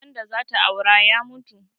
Wanda zata aura ya mutu